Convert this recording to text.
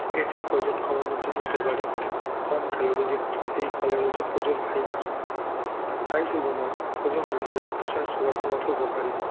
এটি ওজন কমানোর জন্য উপকারী কম calorie যুক্ত এই ফলে রয়েছে প্রচুর fiber তাই শুধু নয় ওজন নয় blood pressure sugar কমাতেও উপকারী